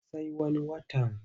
Sai wani watan.